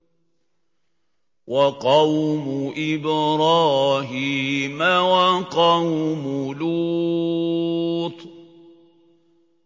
وَقَوْمُ إِبْرَاهِيمَ وَقَوْمُ لُوطٍ